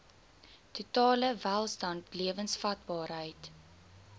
totale welstand lewensvatbaarheid